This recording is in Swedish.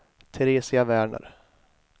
Teresia Werner